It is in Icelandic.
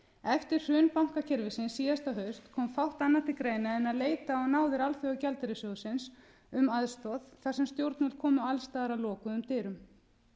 hrun bankakerfisins síðasta haust kom fátt annað til greina en að leita á náðir alþjóðagjaldeyrissjóðsins um aðstoð þar sem stjórnvöld komu alls staðar að lokuðum dyrum